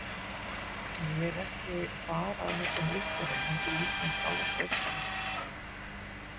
En ég er ekki bara að hugsa um Litla-Hraun heldur líf mitt alveg frá upphafi.